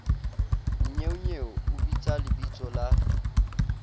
nnyeonyeo o bitsa lebitso la